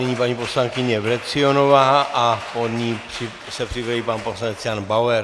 Nyní paní poslankyně Vrecionová a po ní se připraví pan poslanec Jan Bauer.